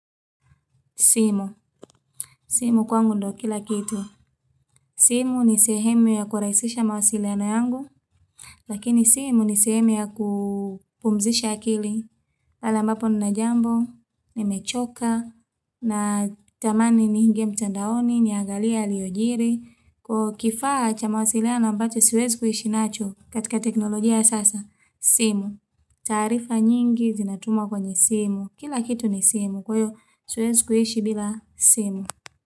Simu. Simu kwangu ndo kila kitu. Simu ni sehemu ya kuraisisha mawasiliano yangu. Lakini simu ni sehemu ya kupumzisha akili. Pale ambapo ninajambo. Nimechoka. Na tamani ni niingie mtandaoni. Niangalie yaliojiri. Kwa kifaha cha mawasiliano ambacho siwezi kuhishi nacho katika teknolojia ya sasa. Simu. Taarifa nyingi zinatumwa kwenye simu. Kila kitu ni simu. Kwaiyo siwezi kuhishi bila simu.